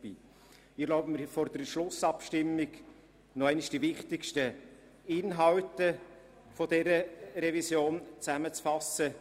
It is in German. Ich erlaube mir vor der Schlussabstimmung noch einmal die wichtigsten Inhalte dieser Revision zusammenzufassen.